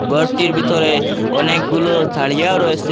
ঘরটির ভিতরে অনেকগুলো তারিয়াও রয়েসে।